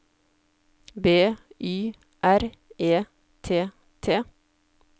B Y R E T T